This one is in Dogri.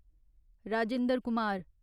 राजेंद्र कुमार